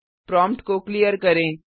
prompt को clear करें